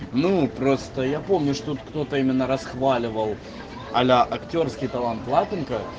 ну просто я помню что тут кто-то именно расхваливал а-ля актёрский талант лапенко